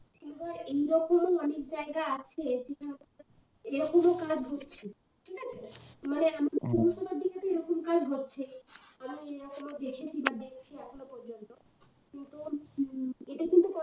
কিন্তু ধর এইরকমও অনেক জায়গা আছে এরকমও কাজ হচ্ছে ঠিক আছে মানে এরকম কাজ হচ্ছেই। আমি দেখছি বা দেখছি এখনও পর্যন্ত তো, কিন্তু উম এটা কিন্তু